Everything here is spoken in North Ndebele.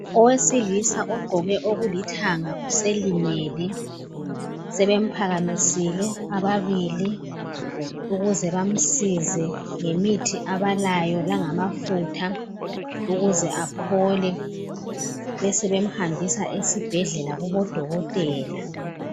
Owesilisa ogqoke okulithanga uselimele sebemphakamisile ababili ukuze bamsize ngemithi abalayo langamafutha ukuze aphole besebemhambisa esibhedlela kubodokotela.